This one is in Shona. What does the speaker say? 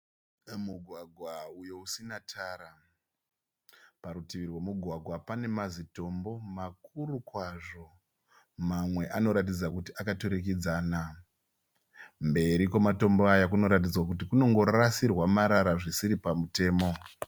Mugwagwa uyo usina tara. Parutivi rwemugwagwa pane mazitombo makuru kwazvo. Mamwe anoratidza kuti akaturikidzana. Mberi kwematombo aya kunongoratidza kuti kunongorasirwa marara zvisiri pamutemo.